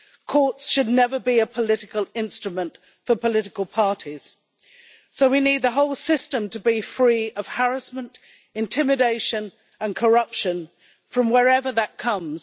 Courts should never be a political instrument for political parties, so we need the whole system to be free of harassment, intimidation and corruption, from wherever that comes.